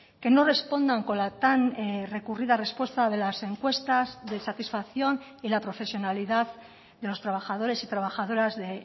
que no respondan con la tan recurrida respuesta de las encuestas de satisfacción y la profesionalidad de los trabajadores y trabajadoras de